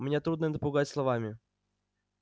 меня трудно напугать словами